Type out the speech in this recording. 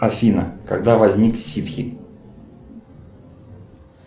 афина когда возник сидхи